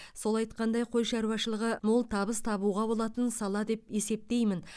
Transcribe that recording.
сол айтқандай қой шаруашылығы мол табыс табуға болатын сала деп есептеймін